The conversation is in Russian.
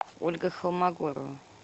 ольга холмогорова